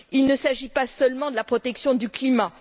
Il ne s'agit pas seulement de la protection du climat.